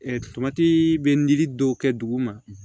tomati bɛ lili dɔw kɛ duguma